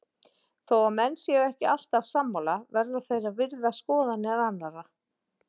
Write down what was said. Þó að menn séu ekki alltaf sammála verða þeir að virða skoðanir annara.